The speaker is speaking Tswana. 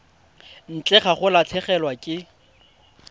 ntle ga go latlhegelwa ke